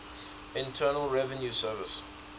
internal revenue service